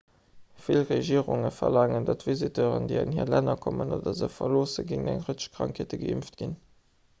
vill regierunge verlaangen datt visiteuren déi an hir länner kommen oder se verloossen géint eng rëtsch krankheete geimpft ginn